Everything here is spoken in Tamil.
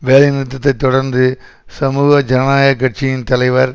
வேலைநிறுத்தத்தை தொடர்ந்து சமூக ஜனநாயக கட்சியின் தலைவர்